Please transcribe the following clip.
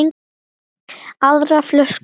Aðra flösku?